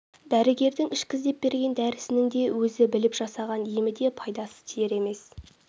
дәрігердң ішкіз деп берген дәрісінің де өзі біліп жасаған емі де пайдасы тиер емес